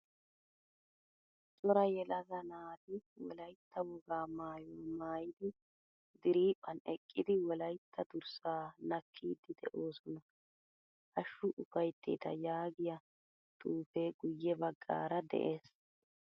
Cora yelaga naati wolaytta wogaa maayuwaa maayidi diriphphan eqqidi wolaytta durssa nakkidi de'oosona. Hashshu ufaytetta yaagiyaa xuufee guye baggaara de'ees.